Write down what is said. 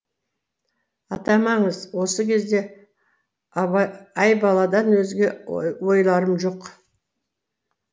атамаңыз осы кезде айбаладан өзге ойларым жоқ